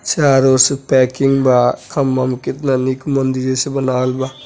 चारों ओर से पैकिंग बा। खंभा में केतना नीक मंदिर जैसे बनावल बा।